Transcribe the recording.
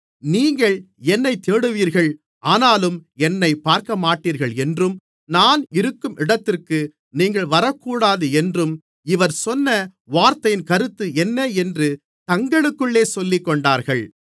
நீங்கள் என்னைத் தேடுவீர்கள் ஆனாலும் என்னைப் பார்க்கமாட்டீர்கள் என்றும் நான் இருக்கும் இடத்திற்கு நீங்கள் வரக்கூடாது என்றும் இவர் சொன்ன வார்த்தையின் கருத்து என்ன என்று தங்களுக்குள்ளே சொல்லிக்கொண்டார்கள்